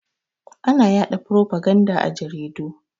Ana ya da farfaganda a jaridu.